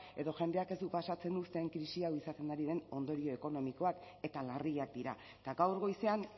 edo jendeak ez du pasatzen uzten krisi hau izaten ari den ondorio ekonomikoak eta larriak dira eta gaur goizean